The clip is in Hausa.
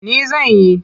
Ni zan yi.